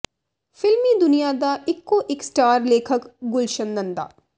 ਫ਼ਿਲਮੀ ਦੁਨੀਆ ਦਾ ਇੱਕੋ ਇਕ ਸਟਾਰ ਲੇਖਕ ਗੁਲਸ਼ਨ ਨੰਦਾ